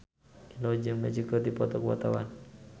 Indro jeung Magic keur dipoto ku wartawan